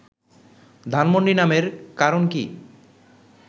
ধানমন্ডি নামের কারণ কী